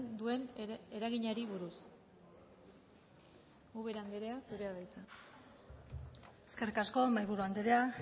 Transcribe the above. duen eraginari buruz ubera andrea zurea da hitza eskerrik asko mahaiburu andrea